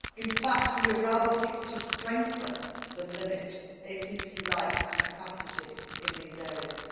In fact, we would rather seek to strengthen than limit ACP rights and capacity in these areas.